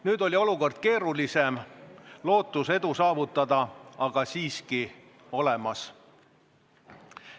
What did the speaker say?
Nüüd oli olukord keerulisem, lootus edu saavutada aga siiski olemas.